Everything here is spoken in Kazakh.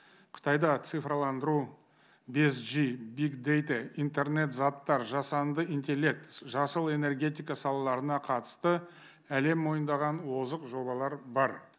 қытайда цифраландыру бес жи биг дэйта интернет заттар жасанды интеллект жасыл энергетика салаларына қатысты әлем мойындаған озық жобалар бар